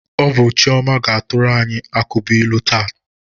Ọ bụ Chioma ga-atụrụ anyị ukabụilu taa.